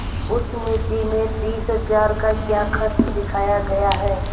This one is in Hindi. उस मिती में तीस हजार का क्या खर्च दिखाया गया है